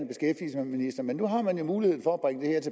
af men nu har man jo mulighed for